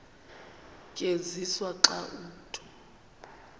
tyenziswa xa umntu